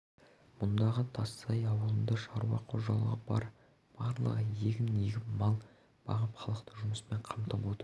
мұндағы тассай ауылында шаруа қожалығы бар барлығы егін егіп мал бағып халықты жұмыспен қамтып отыр